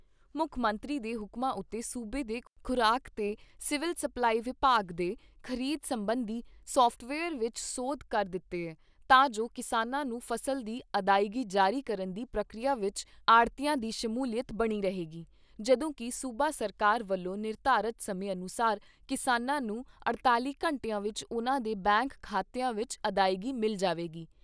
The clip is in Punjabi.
ਮੁੱਖ ਮੰਤਰੀ ਦੇ ਹੁਕਮਾਂ ਉਤੇ ਸੂਬੇ ਦੇ ਖ਼ੁਰਾਕ ਤੇ ਸਿਵਲ ਸਪਲਾਈ ਵਿਭਾਗ ਨੇ ਖ਼ਰੀਦ ਸਬੰਧੀ ਸਾਫਟਵੇਅਰ ਵਿਚ ਸੋਧ ਕਰ ਦਿੱਤੀ ਏ, ਤਾਂ ਜੋ ਕਿਸਾਨਾਂ ਨੂੰ ਫਸਲ ਦੀ ਅਦਾਇਗੀ ਜਾਰੀ ਕਰਨ ਦੀ ਪ੍ਰਕਿਰਿਆ ਵਿਚ ਆੜ੍ਹਤੀਆਂ ਦੀ ਸ਼ਮੂਲੀਅਤ ਬਣੀ ਰਹੇਗੀ, ਜਦੋਂ ਕਿ ਸੂਬਾ ਸਰਕਾਰ ਵੱਲੋਂ ਨਿਰਧਾਰਤ ਸਮੇਂ ਅਨੁਸਾਰ ਕਿਸਾਨਾਂ ਨੂੰ ਅਠਤਾਲ਼ੀ ਘੰਟਿਆਂ ਵਿਚ ਉਨ੍ਹਾਂ ਦੇ ਬੈਂਕ ਖਾਤਿਆਂ ਵਿਚ ਅਦਾਇਗੀ ਮਿਲ ਜਾਵੇਗੀ।